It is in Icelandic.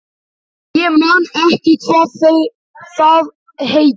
Ég man ekki hvað það heitir.